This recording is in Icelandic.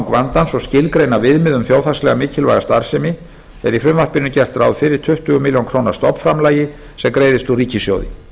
vandans og skilgreina viðmið um þjóðhagslega mikilvæga starfsemi er í frumvarpinu gert ráð fyrir tuttugu milljón króna stofnframlagi sem greiðist úr ríkissjóði